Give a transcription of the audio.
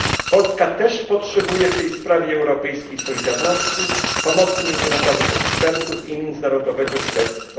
Polska też potrzebuje w tej sprawie europejskiej solidarności, pomocy międzynarodowych ekspertów i międzynarodowego śledztwa.